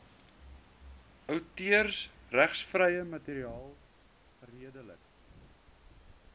outeursregvrye materiaal geredelik